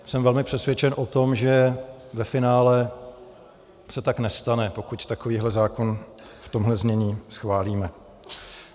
Jsem velmi přesvědčen o tom, že ve finále se tak nestane, pokud takovýhle zákon v tomhle znění schválíme.